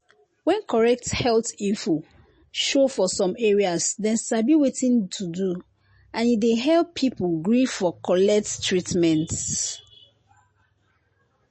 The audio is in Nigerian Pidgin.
when correct health info show for some areas dem sabi wetin to do and e dey help people gree for collect treatment.